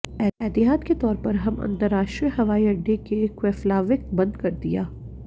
एहतियात के तौर पर हम अंतरराष्ट्रीय हवाई अड्डे के केफ्लाविक बंद कर दिया